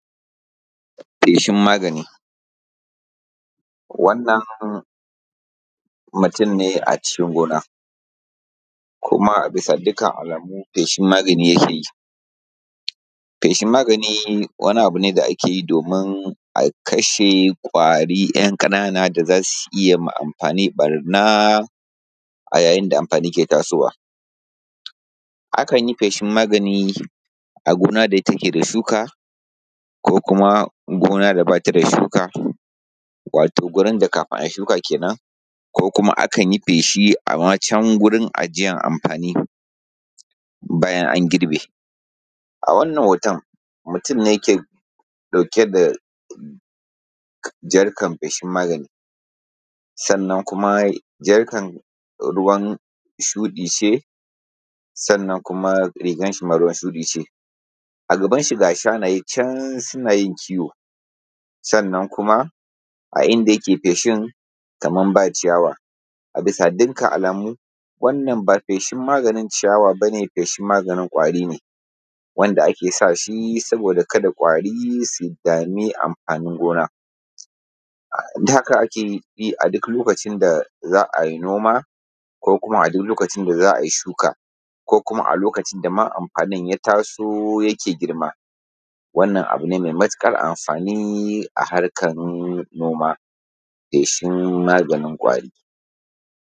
Feshin magani. Wannan mutunne a cikin gonna kuma a bisa dukkan alamu fashin maganin yakeyi. Fashen magani Wani abune da akeyi domin a kashe ƙanana ƙanana kwari a cikin gona da zasu iyya ma amfani ɓarna a lokacin da amfani yake tashi. Akan yi feshin magani a gona da take da shuka ko kuma gona da bata da shuka, wato wurin da kafin ai shuka kenan akanyi feshi ama can wurina ajiyan amfani bayan an girbi. A wannan hoton mutunne ke ɗauke da jarkan fashin magani, sannan kuma jarkan ruwan shuɗi ce sannan kuma rigan shima ruwan shuɗi ce. A gaban shi ga shanaye can sunayin kiwo sannan kuma a inda yake feshin kaman ba ciyawa bisa dukkan alamu wannan ba feshin maganin ciyawa bane feshin maganin kwari ne wanda ake sashi kada kwari su samu dami amfanin gona haka akeyi aduk lokacin da za'ayi noma ko kuma a lokacin da za'ai shuka ko kuma a lokacin da amfanin ya taso yake girma. Wannan abune mai matuƙar amfani a harkan noma feshin maganin kwari.